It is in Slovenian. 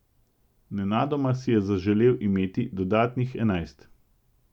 Nenadoma si je zaželel imeti dodatnih enajst.